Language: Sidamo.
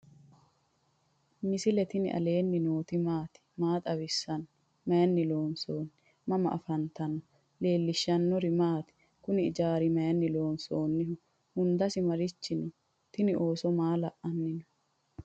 misile tini alenni nooti maati? maa xawissanno? Maayinni loonisoonni? mama affanttanno? leelishanori maati? kuuni ijaru mayini lonsonniho? hundase marichi no?tini ooso maa la"anino?